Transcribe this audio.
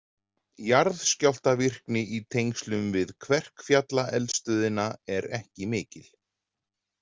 Jarðskjálftavirkni í tengslum við Kverkfjallaeldstöðina er ekki mikil.